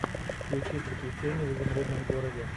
включи приключения в изумрудном городе